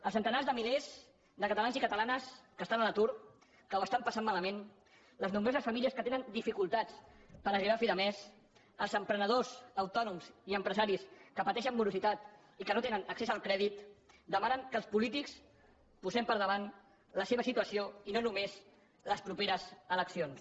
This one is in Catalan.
els centenars de milers de catalans i catalanes que estan a l’atur que ho estan passant malament les nombroses famílies que tenen dificultats per arribar a fi de mes els emprenedors autònoms i empresaris que pateixen morositat i que no tenen accés al crèdit demanen que els polítics posem per davant la seva situació i no només les properes eleccions